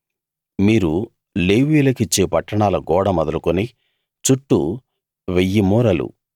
మీరు లేవీయులకిచ్చే పట్టణాల గోడ మొదలుకుని చుట్టూ వెయ్యి మూరలు